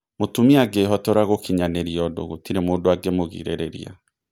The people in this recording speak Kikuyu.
Mũtumia angĩhotora gũkinyanĩria ũndũ gũtirĩ mũndũ angĩmũgirĩrĩria.